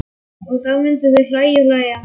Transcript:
Og þá myndu þau hlæja og hlæja.